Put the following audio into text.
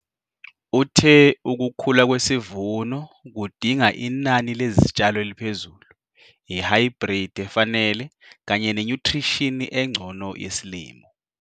Uthe ukukhula kwesivuno kudinga inani lezitshalo eliphezulu, ihaybridi efanele kanye nenyuthrishini engcono yesilimo.